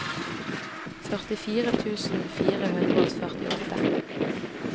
førtifire tusen fire hundre og førtiåtte